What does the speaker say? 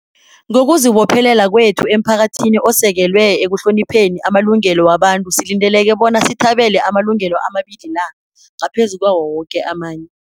Ngokuzibophelela kwethu emphakathini osekelwe ekuhlonipheni amalungelo wabantu silindeleke bona sithabele amalungelo amabili la ngaphezu kwawo woke amanye.